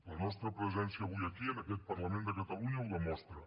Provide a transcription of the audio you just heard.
la nostra presència avui aquí en aquest parlament de catalunya ho demostra